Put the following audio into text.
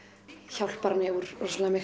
hjálpar henni úr